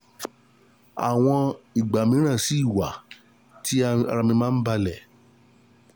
Àwọn ìgbà mìíràn sì wà tí ara mí máa ń balẹ̀